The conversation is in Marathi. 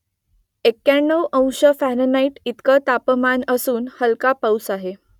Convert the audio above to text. एक्क्याण्णव अंश फॅरनहाईट इतकं तापमान असून हलका पाऊस आहे